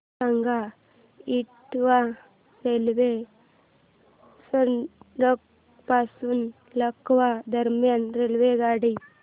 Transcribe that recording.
सांगा इटावा रेल्वे स्थानक पासून लखनौ दरम्यान रेल्वेगाडी